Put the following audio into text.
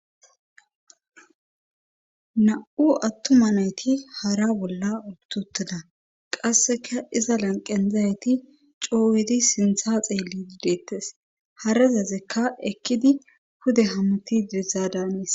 na7u attuma nayti hara bolla utotada qasseka iza lanqen dizayyti coowedi sintha xeellidi deettes harazazekka ekkidi pude hammuti diza danes